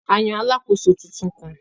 A yàn alàkóso tuntun kàn.